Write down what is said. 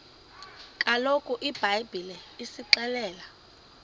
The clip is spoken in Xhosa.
kaloku ibhayibhile isixelela